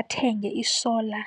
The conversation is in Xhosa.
athenge i-solar.